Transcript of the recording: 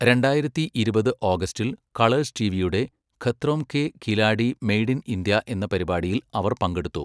രണ്ടായിരത്തി ഇരുപത് ഓഗസ്റ്റിൽ, കളേഴ്സ് ടിവിയുടെ Khatron ke Khiladi made in India എന്ന പരിപാടിയിൽ അവർ പങ്കെടുത്തു.